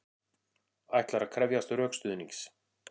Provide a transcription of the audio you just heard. Ætlar að krefjast rökstuðnings